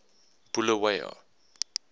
bulawayo